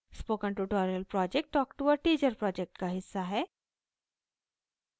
spoken tutorial project talk to a teacher project का हिस्सा है